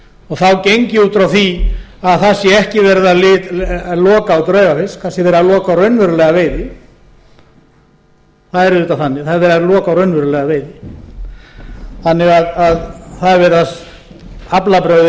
og þá geng ég út frá því að það sé ekki verið að loka á draugaveiði kannski verið að loka á raunverulega veiði það er auðvitað þannig það er verið að loka á raunverulega veiði þannig að það er verið að aflabrögðin